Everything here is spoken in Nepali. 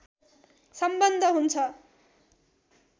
सम्बन्ध हुन्छ